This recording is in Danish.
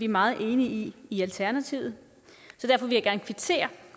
meget enige i i alternativet